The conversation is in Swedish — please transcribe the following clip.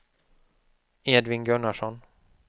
Edvin Gunnarsson